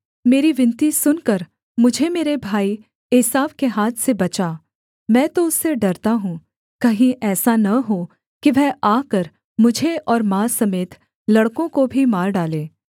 मेरी विनती सुनकर मुझे मेरे भाई एसाव के हाथ से बचा मैं तो उससे डरता हूँ कहीं ऐसा न हो कि वह आकर मुझे और माँ समेत लड़कों को भी मार डाले